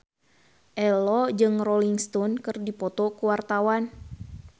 Ello jeung Rolling Stone keur dipoto ku wartawan